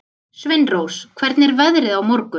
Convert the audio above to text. Sveinrós, hvernig er veðrið á morgun?